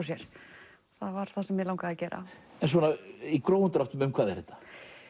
sér það var það sem mig langaði að gera í grófum dráttum um hvað er þetta